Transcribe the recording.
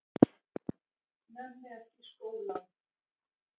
Nenni ekki í skólann.